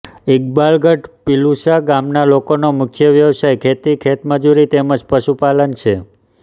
ઈકબાલગઢ પિલુચા ગામના લોકોનો મુખ્ય વ્યવસાય ખેતી ખેતમજૂરી તેમ જ પશુપાલન છે